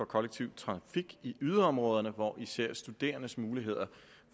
kollektive trafik i yderområderne hvor især studerendes muligheder